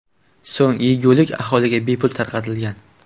So‘ng yegulik aholiga bepul tarqatilgan.